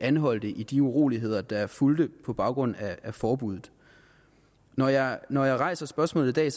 anholdte i de uroligheder der fulgte på baggrund af forbuddet når jeg når jeg rejser spørgsmålet i dag er